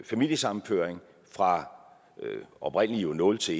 familiesammenføring fra oprindelig nul til